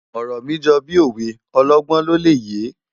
Òrò mi jò bi ówé òlògbòn ló lè yé